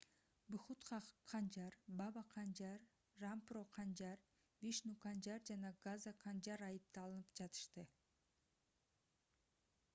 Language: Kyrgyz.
бхутха канжар баба канжар рампро канжар вишну канжар жана газа канжар айыпталынып жатышты